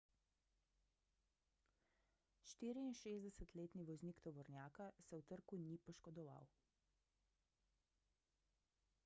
64-letni voznik tovornjaka se v trku ni poškodoval